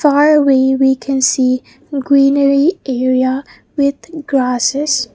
far away we can see greenery area with grasses.